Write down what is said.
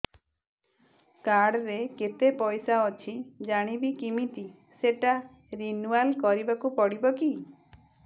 card ରେ କେତେ ପଇସା ଅଛି ଜାଣିବି କିମିତି ସେଟା ରିନୁଆଲ କରିବାକୁ ପଡ଼ିବ କି